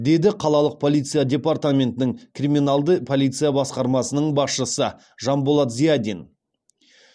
деді қалалық полиция департаментінің криминалды полиция басқармасының басшысы жанболат зиадин